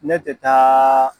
Ne tɛ taaaa.